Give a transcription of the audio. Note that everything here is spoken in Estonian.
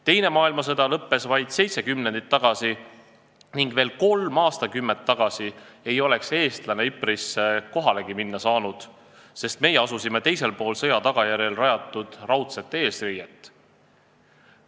Teine maailmasõda lõppes vaid seitse kümnendit tagasi ning veel kolm aastakümmet tagasi ei oleks eestlane Ypres'isse kohalegi minna saanud, sest meie asusime teisel pool sõja tagajärjel rajatud raudset eesriiet.